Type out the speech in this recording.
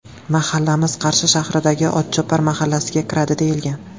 Mahallamiz Qarshi shahridagi ‘Otchopar’ mahallasiga kiradi deyilgan.